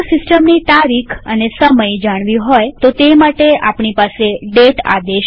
જો સિસ્ટમની તારીખ અને સમય જાણવી હોય તો તે માટે આપણી પાસે દાતે આદેશ છે